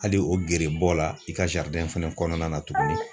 Hali o gere bɔ la i ka fɛnɛ kɔnɔna na tuguni.